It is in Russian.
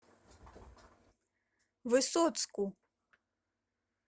высоцку